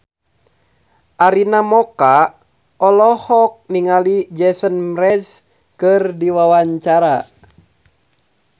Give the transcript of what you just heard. Arina Mocca olohok ningali Jason Mraz keur diwawancara